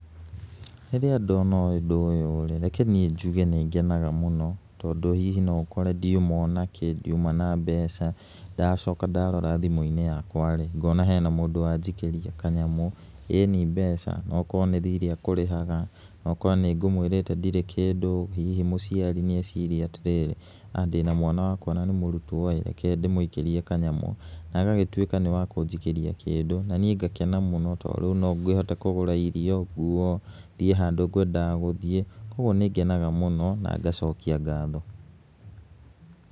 Rĩrĩa ndona ũndũ ũyũ rĩ, reke niĩ njuge nĩ ngenaga mũno tondũ hihi no ngore ndiuma onakĩ ndiuma na mbeca, ndacoka ndarora thimũ-inĩ yakwa rĩ ngona hena mũndũ wanjikĩria kanyamũ, ĩni mbeca. Okorwo nĩ thirĩ ekũrĩhaga, okorwo nĩ ngũmwĩrĩte ndirĩ kĩndũ. Hihi mũciari nĩ eciria atĩ rĩrĩ haha ndĩna mwana wakwa na nĩ mũrutwo ĩ rke ndĩmũikĩrie kanyamũ, na agagĩtuĩka nĩ wakũnjikĩria kĩndũ, na niĩ no ngakena mũno tondũ no ngĩhote kũgũra irio, nguo, thiĩ handũ ngwendaga gũthiĩ. Kuũguo nĩ ngenaga mũno na ngacokia ngatho.